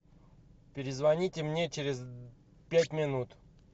перезвоните мне через пять минут